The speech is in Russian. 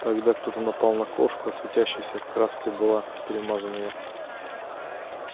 тогда кто-то напал на кошку а светящейся краской была перемазана я